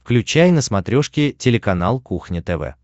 включай на смотрешке телеканал кухня тв